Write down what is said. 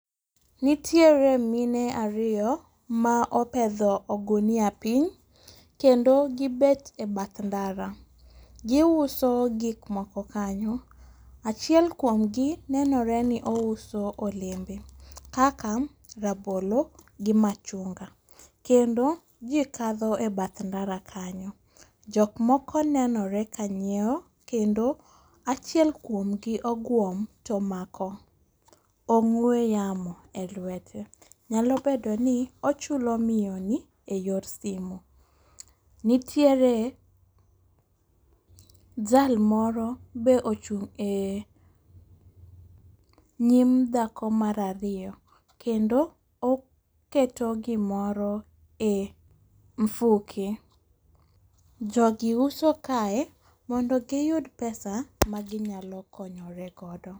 Nitiere mine ariyo ma opedho ogunia piny, kendo gibet e bath ndara. Gi uso gik moko kanyo. Achiel kuomgi neno re ni ouso olembe. Kaka rabolo, gi machunga. Kendo ji kadho e bath ndara kanyo. Jokmoko nenore kanyiewo kendo achiel kuomgi ogwuom to omako ong'we yamo e lwete. Nyalo bedo ni ochulo miyo ni e yor simu. Nitiere jal moro be ochung' e nyim dhako mar ariyo kendo oketo gi moro e mfuke. Jo gi uso kae mondo giyud pesa ma ginyalo konyore godo.